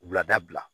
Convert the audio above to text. Wulada